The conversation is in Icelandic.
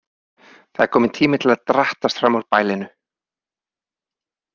Það er kominn tími til að drattast fram úr bælinu.